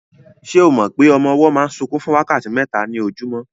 Se o mọ pé ọmọ ọwọ́ máa ń sunkún fún wákàtí mẹ́ta ní ojúmọ́?